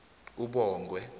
ubongwe